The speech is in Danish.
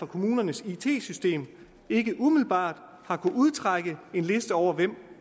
kommunernes it system ikke umiddelbart kan udtrække en liste over hvem